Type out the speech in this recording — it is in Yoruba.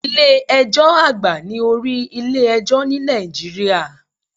Ilé ẹjọ́ àgbà ni orí ilé ẹjọ́ ní Nàìjíríà.